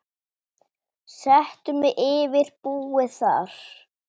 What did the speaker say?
Settu mig yfir búið þar.